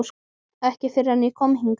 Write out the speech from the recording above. Ekki fyrr en ég kom hingað.